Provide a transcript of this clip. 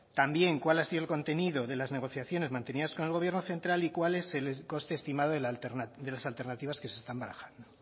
también cuál ha sido el contenido de las negociaciones mantenidas con el gobierno central y cuál es el coste estimado de las alternativas que se están barajando